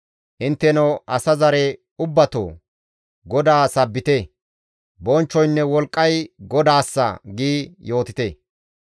Intteno asa zare ubbatoo! GODAA sabbite; «Bonchchoynne wolqqay GODAASSA» gi yootite.